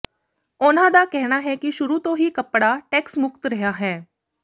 ਉਨ੍ਹਾਂ ਦਾ ਕਹਿਣਾ ਹੈ ਕਿ ਸ਼ੁਰੂ ਤੋਂ ਹੀ ਕੱਪੜਾ ਟੈਕਸ ਮੁਕਤ ਰਿਹਾ ਹੈ